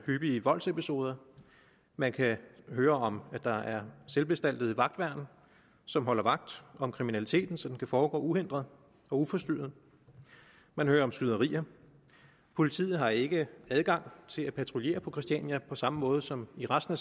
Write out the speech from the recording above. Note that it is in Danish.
hyppigt voldsepisoder man kan høre om at der er selvbestaltede vagtværn som holder vagt om kriminaliteten så den kan foregå uhindret og uforstyrret man hører om skyderier og politiet har ikke adgang til at patruljere på christiania på samme måde som i resten